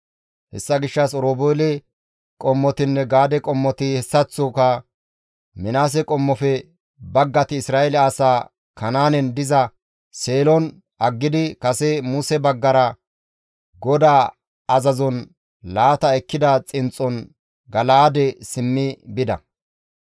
Hessa gishshas Oroobeele qommotinne Gaade qommoti hessaththoka Minaase qommofe baggati Isra7eele asaa Kanaanen diza Seelon aggidi kase Muse baggara GODAA azazon laata ekkida xinxxon Gala7aade simmi bida.